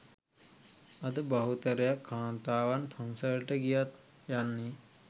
අද බහුතරයක් කාන්තාවන් පන්සලට ගියත් යන්නේ